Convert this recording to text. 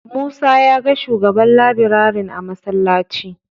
Musa ya ga shugaban labirarin a masallaci.